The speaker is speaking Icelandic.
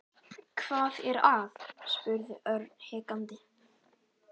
Hvað er að? spurði Örn hikandi.